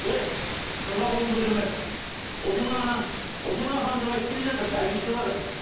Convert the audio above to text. ей қызға қолыңды көтерме ол сенің анаң ол сенің апаң деп айтып келе жатырмыз әлпештеватырмыз